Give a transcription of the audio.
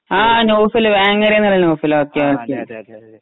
ആ നൗഫല് വേങ്ങരയെന്നുള്ള Noufal okay okay